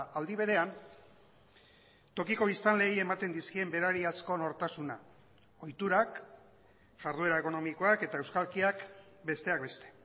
aldi berean tokiko biztanleei ematen dizkien berariazko nortasuna ohiturak jarduera ekonomikoak eta euskalkiak besteak beste